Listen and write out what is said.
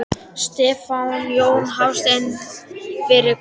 Stefán Jón Hafstein: Fyrir hvað?